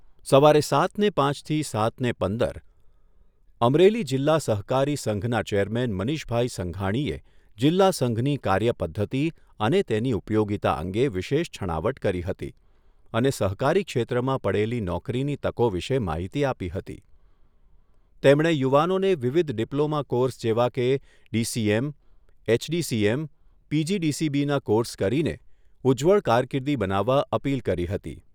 સવારે સાતને પાંચથી સાતને પંદર. અમરેલી જિલ્લા સહકારી સંઘના ચેરમેન મનીષભાઈ સંઘાણીએ જીલ્લાસંઘની કાર્યપધ્ધતી અને તેની ઉપયોગીતા અંગે વિશેષ છણાવટ કરી હતી અને સહકારી ક્ષેત્રમાં પડેલી નોકરીની તકો વિશે માહિતી આપી હતી. તેમણે યુવાનોને વિવિધ ડીપ્લોમાં કોર્સ જેવા કે ડીસીએમ, એચડીસીએમ, પીજીડીસીબીના કોર્સ કરીને ઉજ્જવળ કારકીર્દી બનાવવા અપીલ કરી હતી.